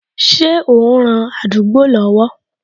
Ṣé o n ran àdúgbò lọ́wọ́